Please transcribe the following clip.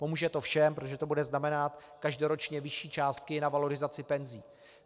Pomůže to všem, protože to bude znamenat každoročně vyšší částky na valorizaci penzí.